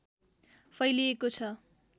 फैलिएको छ